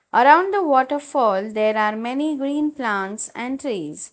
Around the waterfall there are many green plants and trees.